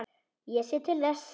Ég sé til þess.